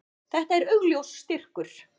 Þetta er augljós styrkur.